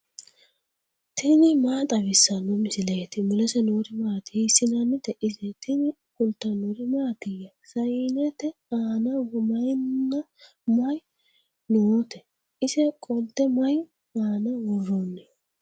tini maa xawissanno misileeti ? mulese noori maati ? hiissinannite ise ? tini kultannori mattiya? Sayiinnette aanna mayiinna mayi nootte ? ise qolitte mayi aanna woroonni?